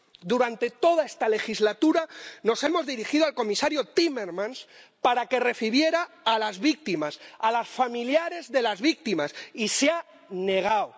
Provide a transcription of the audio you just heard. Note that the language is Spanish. Durante toda esta legislatura nos hemos dirigido al comisario Timmermans para que recibiera a las víctimas, a los familiares de las víctimas, y se ha negado.